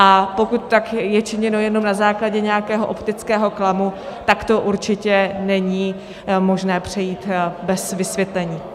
A pokud je tak činěno jenom na základě nějakého optického klamu, tak to určitě není možné přejít bez vysvětlení.